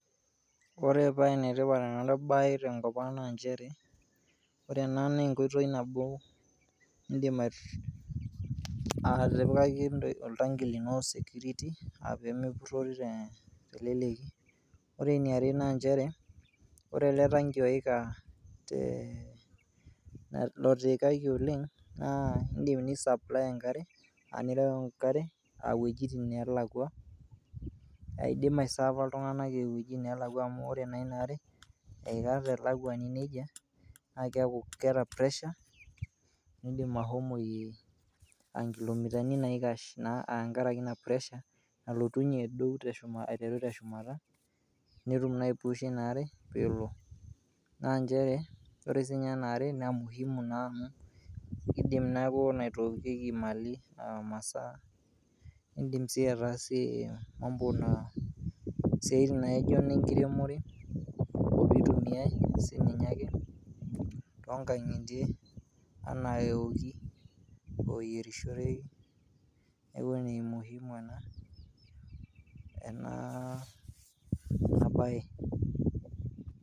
Ore paa ene tipat ena baye tenkop ang' naa njere, ore ena naa enkoitoi nabo niindim atipikaki oltanki lino security aa pee mepurori te leleki. Ore eniare naa njere, ore ele tanki oika tee lotiikaki oleng' naa indim ni supply enkare a nireu enkare o iwotin neelakua aidim aiserva iltung'anak e wuejitin neelakua amu ore naa ina are eika telakuani neija naake eeku keeta pressure, niidim ashomoyie a nkilomitani naikash a tenkaraki ina pressure nalotunye aduo teshuma aiteru te shumata , netum naa aipusha ina are pee elo. Naa njere ore siinye ina are naa muhimu naa amu idim neeku naitookieki mali aa masaa, indim sii ataasie mambo na isiatin naijo ne nkiremore, nitumiai naa sininye to nkang'itie enaa ewoki o eyerishoreki, neeku ene muhimu ena enaa ena baye.